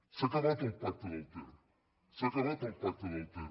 s’ha acabat el pacte del ter s’ha acabat el pacte del ter